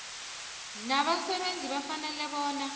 nabasebenzi bafanele bona